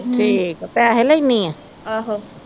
ਤੇ ਠੀਕ ਪੈਸੇ ਲੈਣੀ ਆ